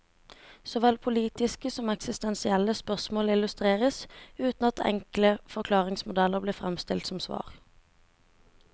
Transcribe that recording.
Såvel politiske som eksistensielle spørsmål illustreres, uten at enkle forklaringsmodeller blir fremstilt som svar.